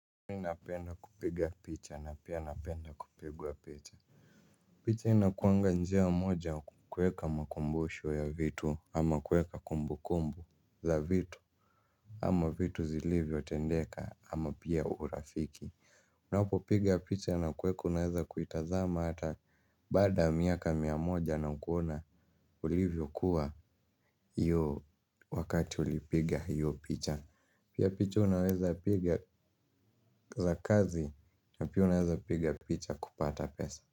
Mimi napenda kupiga picha na pia napenda kupigwa picha. Picha inakuanga njia moja kukweka makumbusho ya vitu au kuweka kumbu kumbu la vitu ama vitu zilivyo tendeka ama pia urafiki. Unapo piga picha na kuweka unaweza kuitazama hata baada ya miaka mia moja na kuona ulivyo kuwa hiyo wakati ulipiga hiyo picha. Pia picha unaweza piga za kazi. Pia unaweza piga picha kupata pesa.